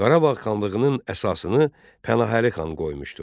Qarabağ xanlığının əsasını Pənahəli xan qoymuşdu.